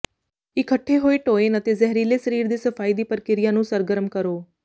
ਇਕੱਠੇ ਹੋਏ ਟੋਏਨ ਅਤੇ ਜ਼ਹਿਰੀਲੇ ਸਰੀਰ ਦੇ ਸਫਾਈ ਦੀ ਪ੍ਰਕ੍ਰਿਆ ਨੂੰ ਸਰਗਰਮ ਕਰੋ